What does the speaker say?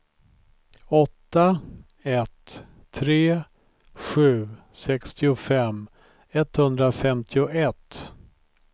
åtta ett tre sju sextiofem etthundrafemtioett